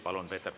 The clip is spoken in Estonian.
Palun!